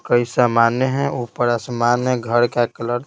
कई सामान्य है ऊपर आसमान है घर का कलर --